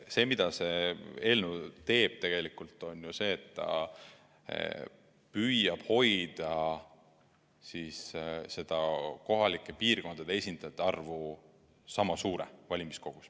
See, mida see eelnõu teeb, on tegelikult ju see, et ta püüab hoida kohalike piirkondade esindajate arvu valimiskogus sama suure.